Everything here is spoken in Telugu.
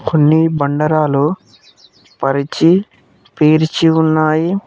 కొన్ని బండరాలు పరిచి పేర్చి ఉన్నాయి.